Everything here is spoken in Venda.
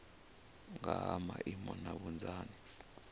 nga ha maimo na vhunzani